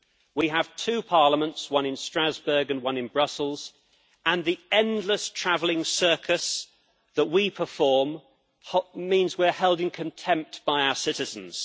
We have two Parliaments, one in Strasbourg and one in Brussels, and the endless travelling circus that we perform means that we are held in contempt by our citizens.